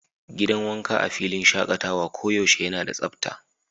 Gidan wanka a filin shakatawa koyaushe yana da tsabta.